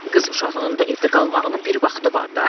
Qız uşağının da evdə qalmağının bir vaxtı var da.